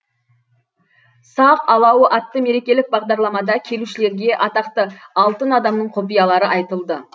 сақ алауы атты мерекелік бағдарламада келушілерге атақты алтын адамның құпиялары айтылды